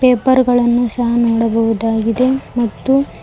paper ಗಳನ್ನು ಸಹ ನೋಡಬಹುದಾಗಿದೆ ಮತ್ತು--